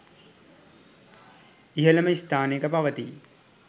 ඉහළම ස්ථානයක පවතී.